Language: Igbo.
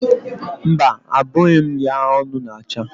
Mba, abụghị m ya ọnụ ma ncha.